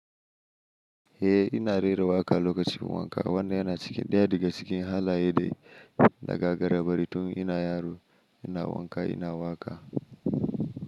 Eh ina rera waƙa lokacin wanka. Wannan yana cikin ɗaya daga cikin halaye da na gagara bari tun ina yaro. Ina wanka ina waƙa.